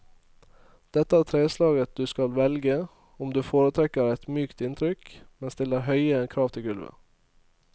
Dette er treslaget du skal velge om du foretrekker et mykt inntrykk, men stiller høye krav til gulvet.